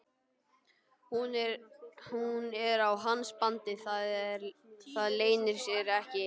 Hún er á hans bandi, það leynir sér ekki.